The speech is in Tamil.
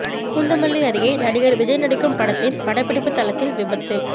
பூந்தமல்லி அருகே நடிகர் விஜய் நடிக்கும் படத்தின் படப்பிடிப்பு தளத்தில் விபத்து